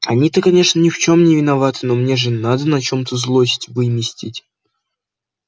они-то конечно ни в чём не виноваты но мне же надо на чём-то злость выместить